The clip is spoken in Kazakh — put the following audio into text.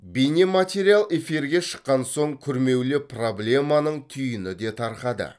бейнематериал эфирге шыққан соң күрмеулі проблеманың түйіні де тарқады